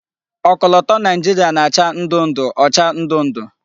Okoloto Naijiria na-acha ndu-ndu ocha ndu-ndu